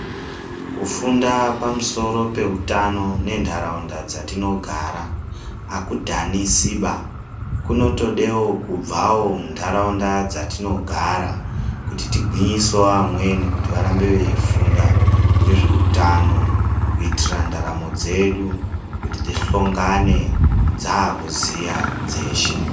Kufunda pamusoro peutano nentaraunda dzatinogara akudhanisiba. Kunotodewo kubvawo mundaraunda dzatinogara kuti tigwinyisewo amweni kuti varambe veifunda ngezveutano kuitira ndaramo dzedu, kuti tihlongane dzaakuziva dzeshe.